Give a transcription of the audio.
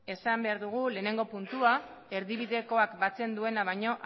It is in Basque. esan behar dugu lehenengo puntua erdibidekoak batzen duena baino